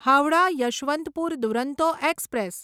Howrah Yesvantpur Duronto express